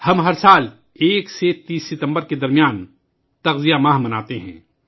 ہم ہر سال 1 سے 30 ستمبر تک پوشن ماہ مناتے ہیں